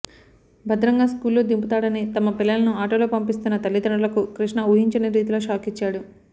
భద్రంగా స్కూల్లో దింపుతాడని తమ పిల్లలను ఆటోలో పంపిస్తున్న తల్లిదండ్రులకు కృష్ణ ఊహించని రీతిలో షాకిచ్చాడు